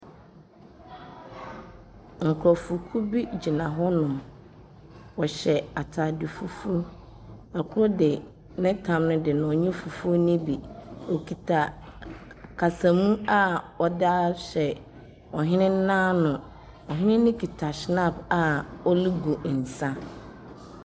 Nkurɔfokuo bi gyina hɔnom. Wɔhyɛ ataade fufuo. ℇkor de ne tam no de ɔnyi fufu no bi. Ↄkuta kasamu a ɔde ahyɛ ɔhene n’ano. Ↄhene no kuta schnapp a ɔregu nsa.